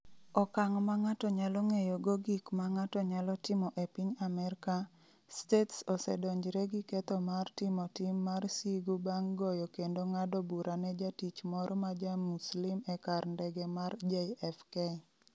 Okang’ ma ng’ato nyalo ng’eyogo gik ma ng’ato nyalo timo e piny Amerka, States osedonjre gi ketho mar timo tim mar sigu bang’ goyo kendo ng’ado bura ne jatich moro ma ja-Muslim e kar ndege mar JFK.